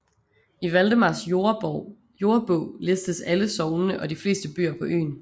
I Valdemars Jordebog listes alle sognene og de fleste byer på øen